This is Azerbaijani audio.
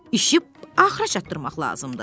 İşi axıra çatdırmaq lazımdır.